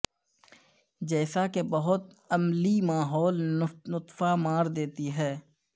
جیسا کہ بہت املیی ماحول نطفہ مار دیتی ہے